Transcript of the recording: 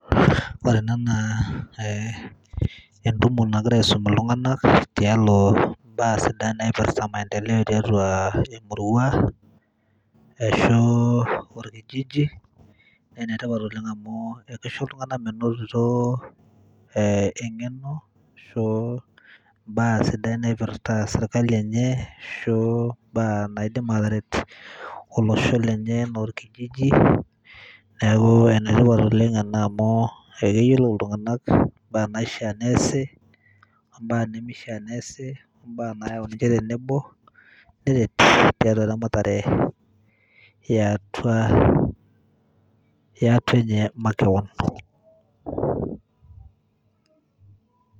Ore ena naa entumo nagirai aisum iltung'anak tialo mbaa sidan naipirta maendeleo tiatua emurua ashu orkijiji naa ene tipat oleng' amu kisho iltung'anak menoto eng'eno o mbaa naipirta serkali enye ashu mbaa naidim ataret olosho lenye enaa orkijiji. Neeku ene tipat ena oleng' amu keyolou iltung'anak imbaa naishaa neasi, mbaa nemishaa neasi, mbaa nayau ninje tenebo, neret tiatua eramatare e atua e ate nye makeon.